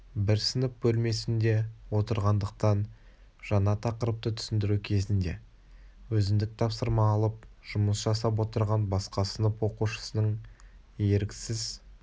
бір сынып бөлмесінде отырғандықтан жаңа тақырыпты түсіндіру кезінде өзіндік тапсырма алып жұмыс жасап отырған басқа сынып оқушысының еріксіз